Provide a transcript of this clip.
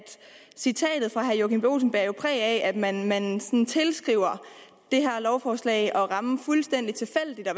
citatet fra herre joachim b olsen bærer præg af at man tilskriver det her lovforslag at det rammer fuldstændig tilfældigt